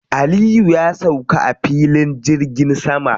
Aliyu ya sauka a filin jirgin sama.